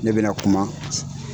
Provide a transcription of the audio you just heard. Ne bɛ na kuma